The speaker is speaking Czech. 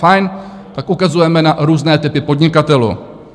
Fajn, tak ukazujeme na různé typy podnikatelů.